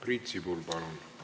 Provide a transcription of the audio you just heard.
Priit Sibul, palun!